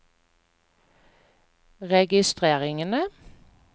registreringene